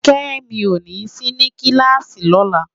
Kemi ó ni si ni kilási lòlá